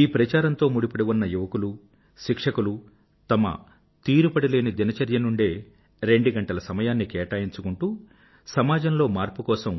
ఈ ప్రచారంతో ముడిపడిఉన్న యువకులు శిక్షకులు తమ తీరుబడిలేని దినచర్య నుండే రెండు గంటల సమయాన్ని కేటాయించుకుంటూ సామాజంలో మార్పు కోసం